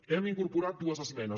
hem incorporat dues esmenes